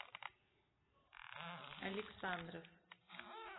александров